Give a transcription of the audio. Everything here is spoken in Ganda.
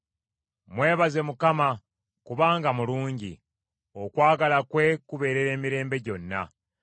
Mwebaze Mukama , kubanga mulungi; okwagala kwe kubeerera emirembe gyonna.